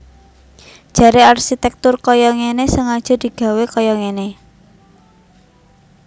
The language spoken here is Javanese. Jaré arsitèktur kaya ngéné sengaja digawé kaya ngéné